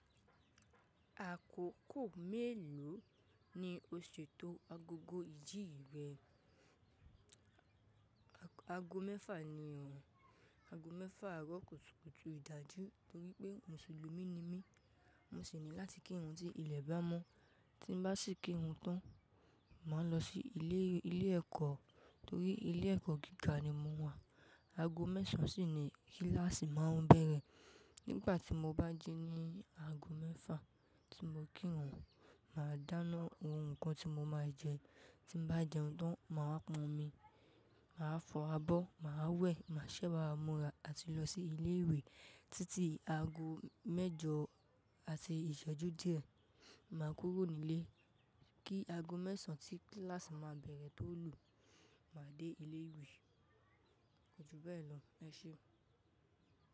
Àkókò mélòó ni o ṣètò agogo ìjí rẹ? Ago mẹ́fà ni ọ̀o, ago mẹ́fà àárọ̀ kùtùkùtù ìdájú torí pé Mùsùlùmí ni mí. Mo sì ní láti kírun tí ilẹ̀ bá mọ́. Tí n bá sì kírun tán, màá lọ sí ilé, ilé ẹ̀kọ́ torí ilé ẹ̀kọ́ gíga ni mo wà. Ago mẹ́sàn án sì ni kíláàsì máa bẹ̀rẹ̀. Nígbà tí mo bá jí ní ago mẹ́fà tí mo kírun, màá dáná ohun nǹkan tí mo máa jẹ. Tí n bá jẹun tán, màá pọn omi, màá fọ abọ́, màá wẹ̀, màá ṣẹ́wà múra àti lọ sí ilé ìwé títí ago mẹ́jọ àti ìṣẹ́jú díẹ̀. Màá kúrò nílé kí ago mẹ́sàn án tí kíláàsì máa bẹ̀rẹ̀ tó lù. Màá dé ilé ìwé. Kojú bẹ́ẹ̀ lọ. Ẹ ṣé.